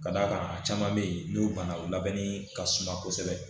Ka d'a kan a caman bɛ yen n'o bana o labɛnni ka suma kosɛbɛ